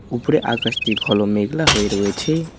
উপরে আকাশটি ঘল মেঘলা হয়ে রয়েছে।